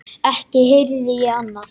Ekki heyrði ég annað.